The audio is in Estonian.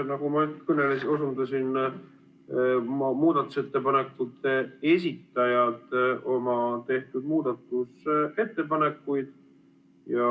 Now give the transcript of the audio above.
Nagu ma osundasin, tutvustasid muudatusettepanekute esitajad oma tehtud muudatusettepanekuid.